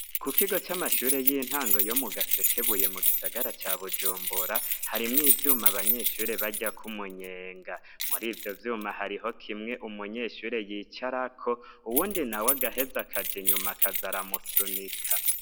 Ku kigo c'amashure y'intango yo mu Gasekebuye mu gisagara ca Bujumbura, harimwo ivyuma abanyeshuri baryako umunyenga, muri ivyo vyuma hariho kimwe umunyeshure yicarako uwundi nawe agaheza akaja inyuma akaza aramusunika.